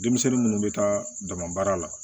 Denmisɛnnin munnu bɛ taa dama baara la